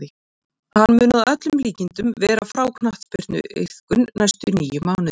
Hann mun að öllum líkindum vera frá knattspyrnuiðkun næstu níu mánuðina.